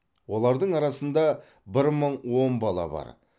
олардың арасында бір мың он бала бар